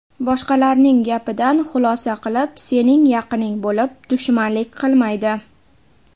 Boshqalarning gapidan xulosa qilib, sening yaqining bo‘lib, dushmanlik qilmaydi.